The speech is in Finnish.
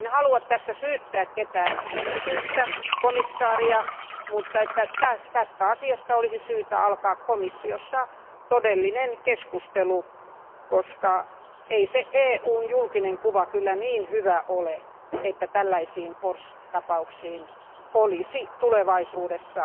En halua tässä syyttää ketään yksittäistä komission jäsentä, mutta asiasta olisi syytä aloittaa komissiossa todellinen keskustelu, koska ei EUn julkinen kuva kyllä niin hyvä ole, että tällaisiin Porsche tapauksiin olisi tulevaisuudessa